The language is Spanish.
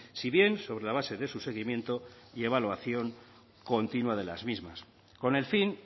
si bien sobre la base de su seguimiento y evaluación continua de las mismas con el fin